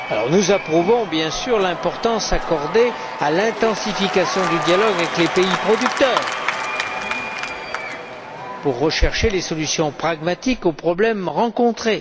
Nous approuvons, bien sûr, l'importance accordée à l'intensification du dialogue avec les pays producteurs pour rechercher des solutions pragmatiques aux problèmes rencontrés.